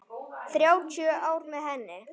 Þrjátíu ár með henni.